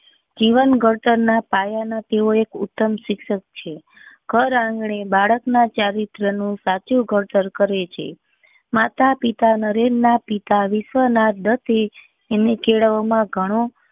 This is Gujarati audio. જીવન ઘડતર નાં પાયા ના તેઓ એક ઉતમ શિક્ષક છે ઘર આંગણે બાળક ના ચરિત્ર નું સાચું ગૌચર કરે છે માતા પિતા નરેન ના પિતા વિશ્વનાથ દસે એમને કેળવવા માં ગણો